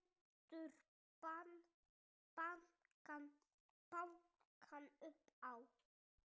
Heldur bankar upp á.